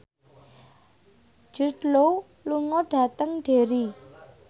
Jude Law lunga dhateng Derry